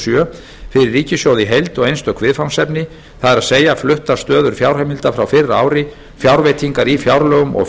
sjö fyrir ríkissjóð í heild og einstök viðfangsefni það er fluttar stöður fjárheimilda frá fyrra ári fjárveitingar í fjárlögum og